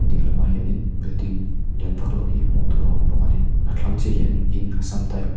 dinglamah hian in building lian vak lo hi hmuh tur a awm bawk a ni a thlang chiah ah hian in assam type .